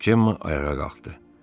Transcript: Cemma ayağa qalxdı.